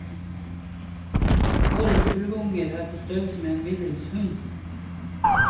Årets ulvunger er på størrelse med en middels hund.